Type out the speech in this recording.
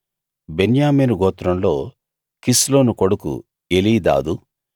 బెన్యామీను గోత్రంలో కిస్లోను కొడుకు ఎలీదాదు